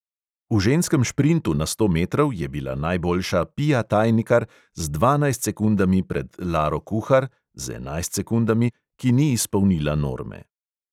V ženskem šprintu na sto metrov je bila najboljša pia tajnikar z dvanajst sekundami pred laro kuhar (z enajst sekundami), ki ni izpolnila norme.